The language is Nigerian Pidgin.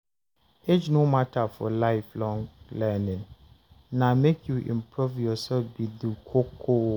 Age no matter for Life-long learning; na make you improve yourself be the koko.